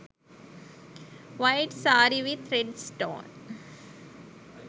white saree with red stone